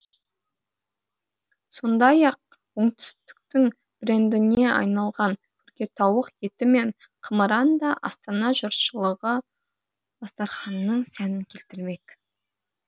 сондай ақ оңтүстіктің брендіне айналған күркетауық еті мен қымыран да астана жұртшылығы дастарханының сәнін келтірмек